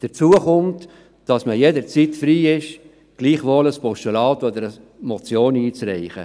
Dazu kommt, dass man jederzeit frei ist, gleichwohl ein Postulat oder eine Motion einzureichen.